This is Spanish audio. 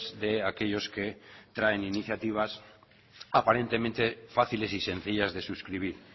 de aquellos que traen iniciativas aparentemente fáciles y sencillas de suscribir